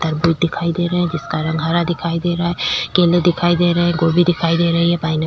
तरबूज दिखाई दे रहै है जिसका रंग हरा दिखाई दे रहा है केले दिखाई दे रहै है गोभी दिखाई दे रही है पाइनएप्पल --